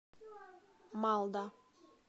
малда